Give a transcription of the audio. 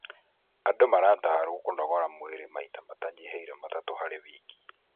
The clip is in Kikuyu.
Andũ maratarwo kũnogora mwĩrĩ maita matanyihĩire matatu harĩ wiki.